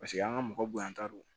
Paseke an ka mɔgɔ bonya ta don